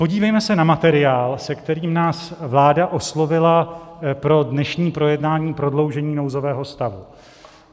Podívejme se na materiál, se kterým nás vláda oslovila pro dnešní projednání prodloužení nouzového stavu.